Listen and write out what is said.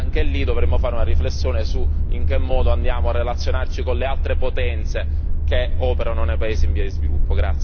E anche lì dovremmo fare una riflessione sul modo in cui andiamo a relazionarci con le altre potenze che operano nei paesi in via di sviluppo.